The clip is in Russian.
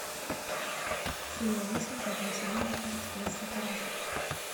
серия восемь пятого сезона кошечка из сакурасо